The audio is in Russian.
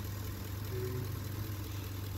дэвид линч